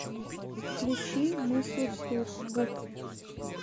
включи мысли вслух гуф